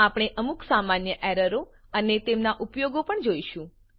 આપણે અમુક સામાન્ય એરરો અને તેમનાં ઉપાયો પણ જોઈશું